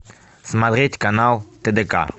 смотреть канал тдк